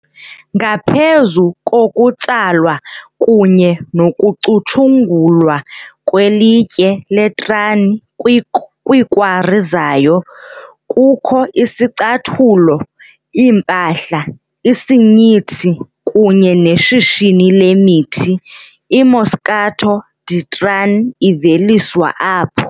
ngaphezu kokutsalwa kunye nokucutshungulwa kwelitye leTrani kwiikwari zayo, kukho izicathulo, iimpahla, isinyithi kunye neshishini lemithi, IMoscato di Trani iveliswa apho.